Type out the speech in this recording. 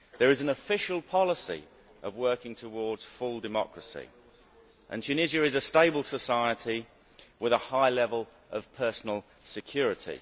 There is an official policy of working towards full democracy, and Tunisia is a stable society with a high level of personal security.